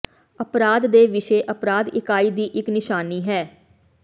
ਅਪਰਾਧ ਦੇ ਵਿਸ਼ੇ ਅਪਰਾਧ ਇਕਾਈ ਦੀ ਇੱਕ ਨਿਸ਼ਾਨੀ ਹੈ